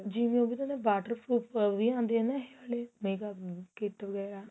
ਜਿਵੇਂ ਉਹ ਵੀ ਤਾਂ ਹੁੰਦਾ water proof ਵੀ ਆਂਦੇ ਏ ਨਾ ਇਹ ਵਾਲੇ makeup kit ਵਗੈਰਾ